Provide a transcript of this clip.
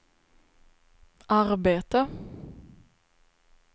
arbete